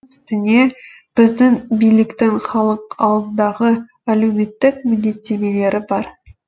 үстіне біздің биліктің халық алдындағы әлеуметтік міндеттемелері бар